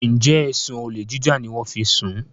njé ẹsùn olè jíjà ní wón fí ń sún?